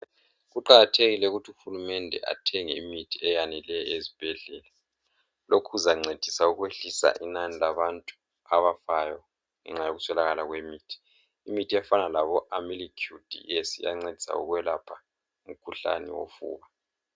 Kuqakathekile ukuthi uhulumende athenge imithi eyaneleyo ezibhedlela lokhu kuzancedisa ukwehlisa inani labantu abafayo ngenxa yokuswelakala kwemithi imithi efana labo Amlycure Ds iyancedisa ukwelapha umkhuhlane wofuba.